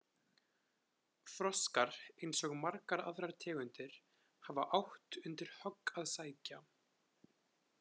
Froskar, eins og margar aðrar tegundir, hafa átt undir högg að sækja.